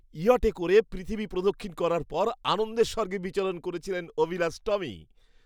ইয়টে করে পৃথিবী প্রদক্ষিণ করার পর আনন্দের স্বর্গে বিচরণ করছিলেন অভিলাষ টমি।